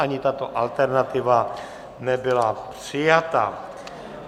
Ani tato alternativa nebyla přijata.